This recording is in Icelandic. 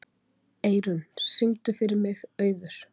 Eirún, syngdu fyrir mig „Auður“.